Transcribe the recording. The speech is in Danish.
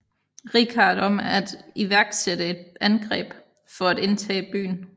Richard om at iværksætte et angreb for at genindtage byen